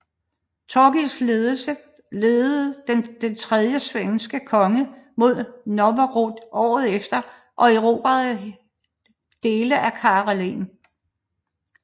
Torgils ledede det tredje svenske korstog mod Novgorod året efter og erobrede dele af Karelen